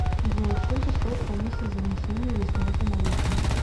джой сколько стоит комиссия за внесение или снятие наличных